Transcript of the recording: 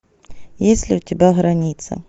есть ли у тебя граница